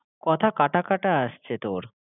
কথা কাটাকাটা আসছে তোর।